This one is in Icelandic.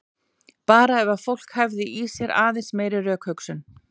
Bara ef fólk hefði í sér aðeins meiri rökhugsun.